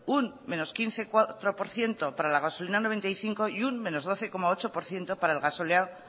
un quince coma cuatro por ciento para la gasolina noventa y cinco y un doce coma ocho por ciento para el gasóleo